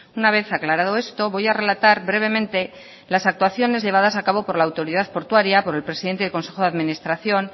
una vez aclarado esto voy a relatar brevemente las actuaciones llevadas a cabo por la autoridad portuaria por el presidente del consejo de administración